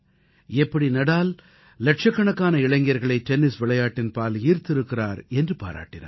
எப்படி நாடால் இலட்சக்கணக்கான இளைஞர்களை டென்னிஸ் விளையாட்டின் பால் ஈர்த்திருக்கிறார் என்று பாராட்டினார்